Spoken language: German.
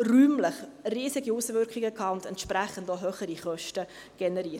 räumlich riesige Auswirkungen gehabt und entsprechend auch höhere Kosten generiert.